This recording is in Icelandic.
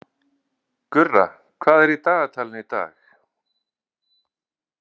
Gurra, hvað er í dagatalinu í dag?